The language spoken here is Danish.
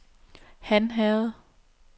Hanherred